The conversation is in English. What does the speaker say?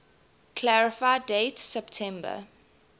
clarify date september